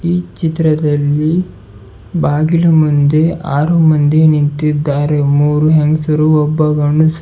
ಈ ಚಿತ್ರದಲ್ಲಿ ಬಾಗಿಲು ಮುಂದೆ ಆರು ಮಂದಿ ನಿಂತಿದ್ದಾರೆ ಮೂರು ಹೆಂಗಸರು ಒಬ್ಬ ಗಂಡಸ್ --